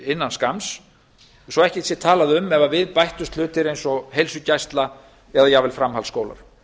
innan skamms svo ekki sé talað um ef við bættust hlutir eins og heilsugæsla eða jafnvel framhaldsskólar